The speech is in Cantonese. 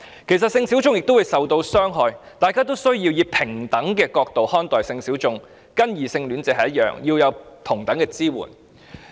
其實，性小眾也會受到傷害，大家應以平等角度看待性小眾，給予跟異性戀者一樣的支援。